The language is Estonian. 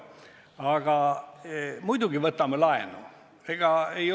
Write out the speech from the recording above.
Aga muidugi võtame laenu!